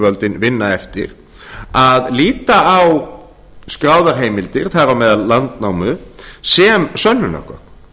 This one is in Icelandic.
þjóðlenduyfirvöldin vinna eftir að líta á skráðar heimildir þar á meðal landnámu sem sönnunargögn